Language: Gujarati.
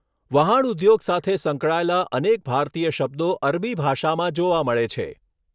વહાણઉદ્યોગ સાથે સંકળાયેલા અનેક ભારતીય શબ્દો અરબી ભાષામાં જોવા મળે છે.